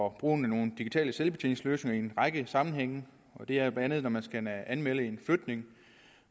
at bruge nogle digitale selvbetjeningsløsninger i en række sammenhænge det er bla når man skal anmelde en flytning